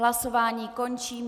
Hlasování končím.